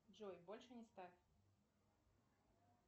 джой больше не ставь